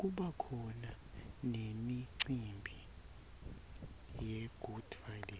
kubakhona nemicimbi yegood friday